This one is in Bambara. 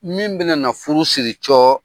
Min bɛna na furu siri.